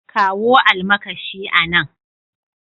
Kawo almakashi a nan.